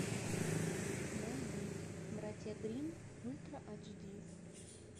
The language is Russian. найди братья гримм ультра айч ди